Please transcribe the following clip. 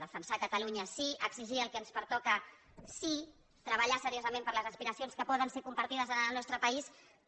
defensar catalunya sí exigir el que ens pertoca sí treballar seriosament per les aspiracions que poden ser compartides en el nostre país també